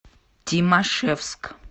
тимашевск